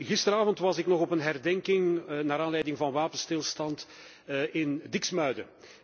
Gisteravond was ik nog op een herdenking naar aanleiding van Wapenstilstand in Diksmuide.